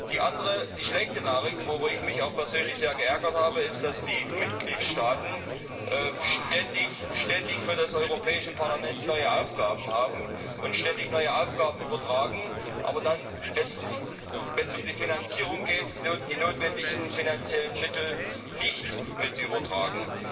Die andere, die schlechte Nachricht worüber ich mich auch persönlich sehr ärgere ist, dass die Mitgliedstaaten ständig neue Aufgaben für das Europäische Parlament haben und uns ständig neue Aufgaben übertragen, aber dann, wenn es um die Finanzierung geht, die notwendigen finanziellen Mittel nicht mit übertragen.